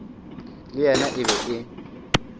le yena e be e